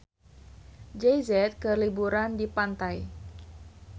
Jay Z keur liburan di pantai